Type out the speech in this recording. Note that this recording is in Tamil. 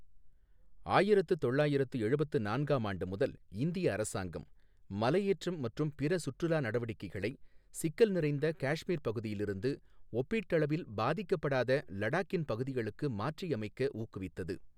ஆயிரத்து தொள்ளாயிரத்து எழுபத்து நான்காம் ஆண்டு முதல், இந்திய அரசாங்கம், மலையேற்றம் மற்றும் பிற சுற்றுலா நடவடிக்கைகளை, சிக்கல் நிறைந்த காஷ்மீர் பகுதியிலிருந்து, ஒப்பீட்டளவில் பாதிக்கப்படாத லடாக்கின் பகுதிகளுக்கு மாற்றியமைக்க ஊக்குவித்தது.